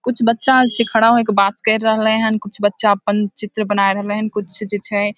कुछ बच्चा आर छै खड़ा होए के बात कर रहले हेन कुछ बच्चा अपन चित्र बनाय रहले हेन कुछ जे छै --